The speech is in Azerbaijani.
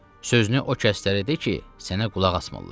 Sözünü o kəslərə de ki, sənə qulaq asmırlar.